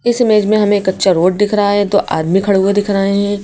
इस इमेज में हमें कच्चा रोड दिख रहा है दो आदमी खड़े हुए दिख रहे हैं।